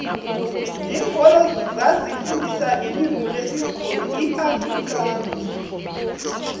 linkolo zazi fundisa ilimu lesibhuru iafrikansi